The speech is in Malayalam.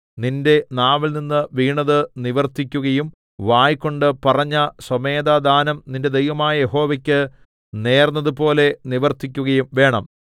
നിന്റെ നാവിൽനിന്നു വീണത് നിവർത്തിക്കുകയും വായ്കൊണ്ട് പറഞ്ഞ സ്വമേധാദാനം നിന്റെ ദൈവമായ യഹോവയ്ക്ക് നേർന്നതുപോലെ നിവർത്തിക്കുകയും വേണം